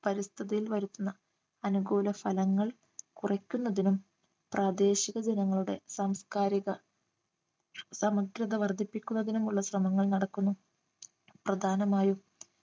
പരിസ്ഥിതിയിൽ വരുത്തുന്ന അനുകൂല ഫലങ്ങൾ കുറയ്ക്കുന്നതിനും പ്രാദേശിക ജനങ്ങളുടെ സാംസ്കാരിക സമഗ്രത വർദ്ധിപ്പിക്കുന്നതിനുമുള്ള ശ്രമങ്ങൾ നടക്കുന്നു പ്രധാനമായും